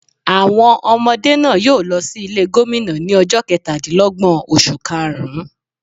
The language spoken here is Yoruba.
Àwọn ọmọdé náà yóò lo sí Ilé Gómìnà ní ojó Ketàdínlógbòn oṣù kaàrún